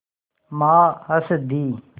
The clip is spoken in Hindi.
माँ हँस दीं